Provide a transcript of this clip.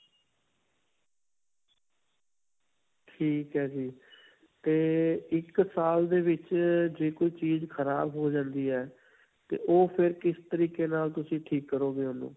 ਠੀਕ ਹੈ ਜੀ. 'ਤੇ ਇੱਕ ਸਾਲ ਦੇ ਵਿੱਚ ਜੇ ਕੋਈ ਚੀਜ਼ ਖਰਾਬ ਹੋ ਜਾਂਦੀ ਹੈ 'ਤੇ ਉਹ ਫਿਰ ਤਰੀਕੇ ਨਾਲ ਤੁਸੀ ਠੀਕ ਕਰੋਗੇ ਓਹਨੂੰ?